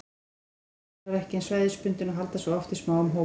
Kvendýrin eru hin vegar ekki eins svæðisbundin og halda sig oft í smáum hópum.